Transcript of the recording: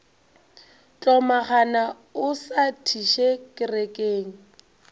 hlomagana o sa thiše kerekeng